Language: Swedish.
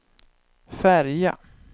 färja